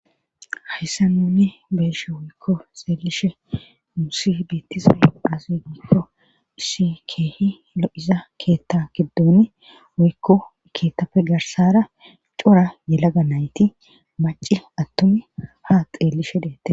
hayssa nuuni beeshe woykko xeelishe muusi beettispe asi giikko issi keehi lo7iza keetta kiddoni woykko keettapfe garsara cora yelaga nayti maci attun ha xeelishe deette